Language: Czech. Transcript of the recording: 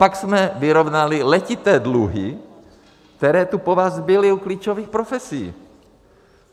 Pak jsme vyrovnali letité dluhy, které tu po vás zbyly u klíčových profesí.